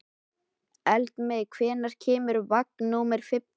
Eldmey, hvenær kemur vagn númer fimmtán?